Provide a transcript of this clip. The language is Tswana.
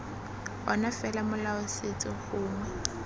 ona fela molao setso gongwe